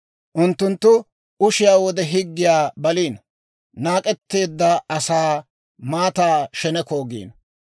Unttunttu ushiyaa wode higgiyaa baliino; naak'etteedda asaa maataa sheneko giino.